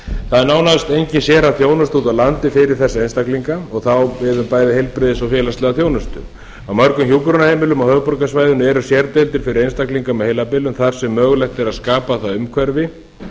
það er nánast engin sérþjónusta úti á landi fyrir þessa einstaklinga og það á við um bæði heilbrigðis og félagslega þjónustu á mörgum hjúkrunarheimilum á höfuðborgarsvæðinu eru sérdeildir fyrir einstaklinga með heilabilun þar sem mögulegt er að skapa það umhverfi